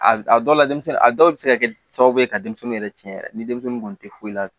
A a dɔw la denmisɛnnin a dɔw bɛ se ka kɛ sababu ye ka denmisɛnnin yɛrɛ tiɲɛ yɛrɛ ni denmisɛnnin kun tɛ foyi la